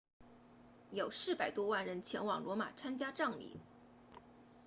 有400多万人前往罗马参加葬礼